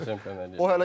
Dünya çempionu eləyib.